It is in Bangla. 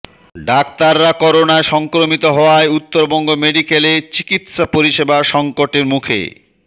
ডাক্তাররা করোনা সংক্রমিত হওয়ায় উত্তরবঙ্গ মেডিক্যালে চিকিৎসা পরিষেবা সঙ্কটের মুখে